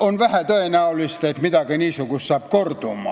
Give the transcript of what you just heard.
on vähe tõenäoline, et midagi niisugust kordub.